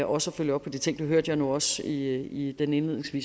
også at følge op på de ting det hørte jeg nu også i den indledende